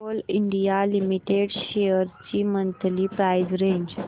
Coal India Limited shares ची monthly price range